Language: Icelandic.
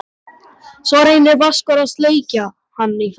Svo reynir Vaskur að sleikja hann í framan.